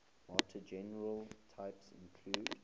martingale types include